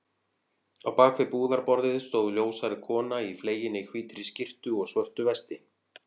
Á bak við búðarborðið stóð ljóshærð kona í fleginni hvítri skyrtu og svörtu vesti.